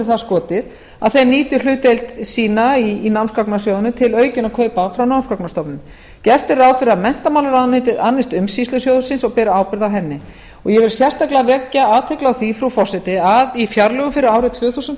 það skotið að þeir nýti hlutdeild sína í námsgagnasjóðnum til aukinna kaupa frá námsgagnastofnun gert er ráð fyrir að menntamálaráðuneytið annist umsýslu sjóðsins og beri ábyrgð á honum ég vil sérstaklega vekja athygli á því frú forseti að í fjárlögum fyrir árið tvö þúsund